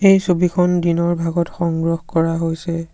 এই ছবিখন দিনৰ ভাগত সংগ্ৰহ কৰা হৈছে।